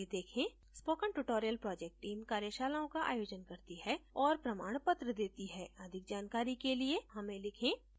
spoken tutorial project team कार्यशालाओं का आयोजन करती है और प्रमाणपत्र देती है अधिक जानकारी के लिए हमें लिखें